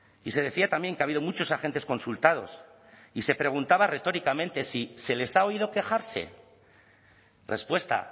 y se decía también que ha habido muchos agentes consultados y se preguntaba retóricamente si se les ha oído quejarse respuesta